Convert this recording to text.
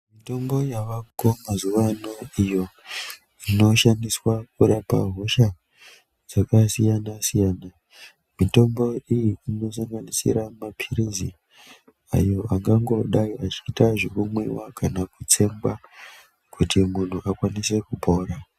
Mitombo yavako mazuvano iyo inoshandiswa kurapa hosha dzakasiyana siyana. Mitombo iyi inosanganisira maphirizi ayo angangodai achiita zvekumwiwa kana kutsenga kuti munhu akwanise kupora.